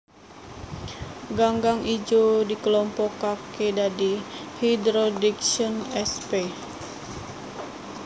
Ganggang ijo dikelompokaké dadi Hydrodiction sp